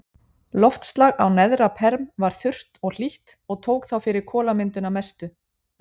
Loftslag á neðra-perm var þurrt og hlýtt og tók þá fyrir kolamyndun að mestu.